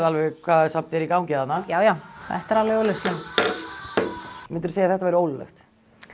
alveg hvað er í gangi þarna já já þetta er alveg augljóst myndirðu segja að þetta væri ólöglegt